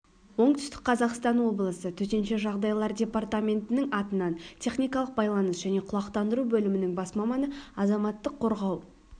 оңтүстік қазақстан облысы төтенше жағдайлар департаментінің атынан техникалық байланыс және құлақтандыру бөлімінің бас маманы азаматтық қорғау